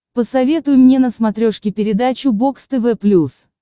посоветуй мне на смотрешке передачу бокс тв плюс